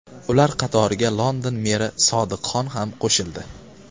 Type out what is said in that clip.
Ular qatoriga London meri Sodiq Xon ham qo‘shildi.